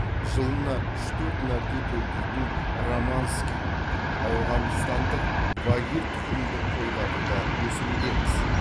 жылына үш төрт мәрте төлдейтін романский ауғанстандық вагир тұқымды қойларды да өсірудеміз